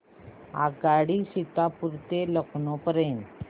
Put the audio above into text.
आगगाडी सीतापुर ते लखनौ पर्यंत